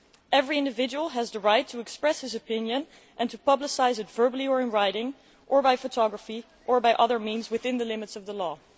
Every individual has the right to express his opinion and to publicise it verbally or in writing or by photography or by other means within the limits of the law'.